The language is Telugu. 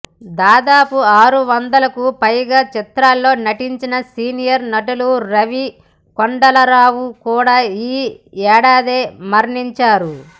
దాదాపు ఆరు వందలకు పైగా చిత్రాల్లో నటించిన సీనియర్ నటులు రావి కొండలరావు కూడా ఈ ఏడాదే మరణించారు